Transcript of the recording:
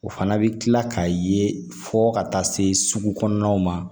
O fana bɛ kila k'a ye fɔ ka taa se sugu kɔnɔnaw ma